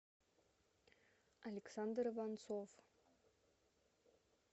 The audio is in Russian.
александр иванцов